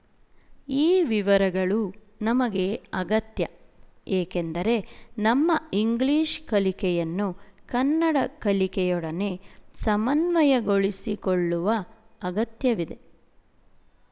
ಈ ವಿವರಗಳು ನಮಗೆ ಅಗತ್ಯ ಏಕೆಂದರೆ ನಮ್ಮ ಇಂಗ್ಲಿಶ ಕಲಿಕೆಯನ್ನು ಕನ್ನಡ ಕಲಿಕೆಯೊಡನೆ ಸಮನ್ವಯಗೊಳಿಸಿಕೊಳ್ಳುವ ಅಗತ್ಯವಿದೆ